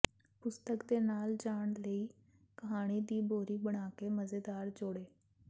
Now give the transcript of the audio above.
ਪੁਸਤਕ ਦੇ ਨਾਲ ਜਾਣ ਲਈ ਕਹਾਣੀ ਦੀ ਬੋਰੀ ਬਣਾਕੇ ਮਜ਼ੇਦਾਰ ਜੋੜੋ